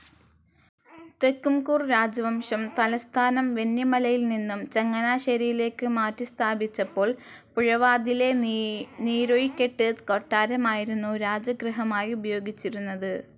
തെക്കുംകൂർ രാജവംശം തലസ്ഥാനം വെന്നിമലയിൽനിന്നും, ചങ്ങനാശ്ശേരിയിലേക്ക് മാറ്റി സ്ഥാപിച്ചപ്പോൾ പുഴവാതിലെ നീരാഴിക്കെട്ട് കൊട്ടാരമായിരുന്നു രാജഗൃഹമായി ഉപയോഗിച്ചിരുന്നത്.